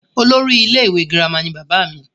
olórí ilé ìwé girama ni bàbá mi